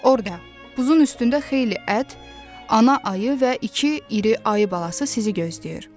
Orada buzun üstündə xeyli ət, ana ayı və iki iri ayı balası sizi gözləyir.